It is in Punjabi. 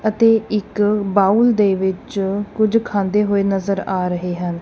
ਅਤੇ ਇੱਕ ਬਾਉਲ ਦੇ ਵਿੱਚ ਕੁਝ ਖਾਂਦੇ ਹੋਏ ਨਜ਼ਰ ਆ ਰਹੇ ਹਨ।